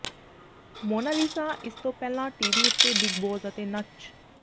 Mona Lisa ਇਸ ਤੋਂ ਪਹਿਲਾਂ ਟੀਵੀ ਉੱਤੇ ਬਿੱਗ ਬੌਸ ਅਤੇ ਨੱਚ